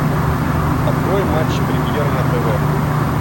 открой матч премьер на тв